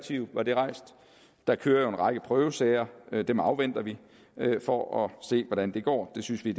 side var det rejst der kører en række prøvesager dem afventer vi for at se hvordan det går det synes vi